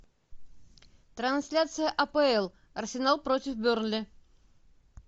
трансляция апл арсенал против бернли